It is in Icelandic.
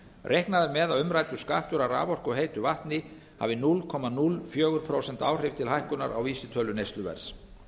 reiknað er með að umræddur skattur af raforku og heitu vatni hafi núll komma núll fjögur prósent áhrif til hækkunar á vísitölu neysluverðs